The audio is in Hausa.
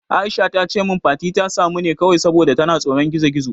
Aisha tace min Fati ta samu ne kawai saboda tana tsoron gizo-gizo.